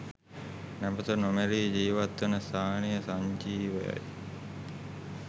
නැවත නොමැරී ජීවත්වන ස්ථානය සංජීවයයි.